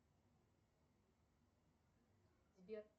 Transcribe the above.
сбер